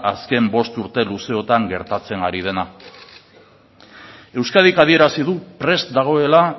azken bost urte luzeotan gertatzen ari dena euskadik adierazi du prest dagoela